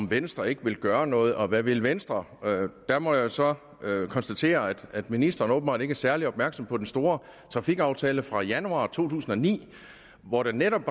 venstre ikke vil gøre noget og hvad vil venstre der må jeg så konstatere at ministeren åbenbart ikke er særlig opmærksom på den store trafikaftale fra januar to tusind og ni hvor der netop